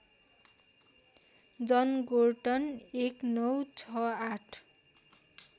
Jan Gorton १९६८